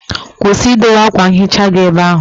Kwụsị idowe akwa nhicha gị ebe ahụ!